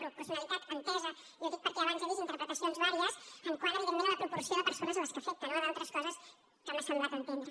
proporcionalitat entesa i ho dic perquè abans he vist interpretacions diverses quant a la proporcionalitat de les persones que afecta no a d’altres coses que m’ha semblat entendre